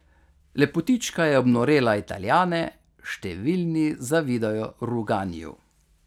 Lepotička je obnorela Italijane, številni zavidajo Ruganiju.